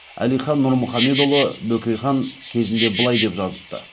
әлихан нұрмұхамедұлы бөкейхан кезінде былай деп жазыпты